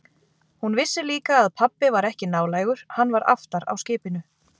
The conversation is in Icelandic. Hún vissi líka að pabbi var ekki nálægur, hann var aftar á skipinu.